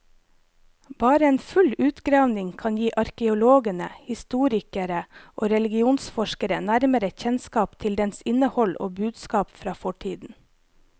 Bare en full utgravning kan gi arkeologene, historikere og religionsforskere nærmere kjennskap til dens innhold og budskap fra fortiden.